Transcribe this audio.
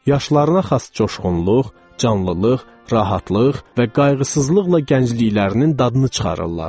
Yaşlarına xas coşğunluq, canlılıq, rahatlıq və qayğısızlıqla gəncliklərinin dadını çıxarırlar.